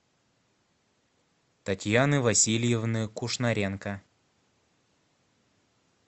татьяны васильевны кушнаренко